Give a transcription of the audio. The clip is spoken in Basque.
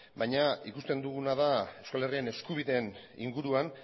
baina ikusten duguna da euskal herrian eskubideen inguruan